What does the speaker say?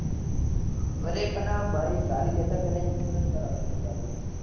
વરેપના ભાઈ ગાડી લેતા પહેલા insurance કરવ જો ભાઈ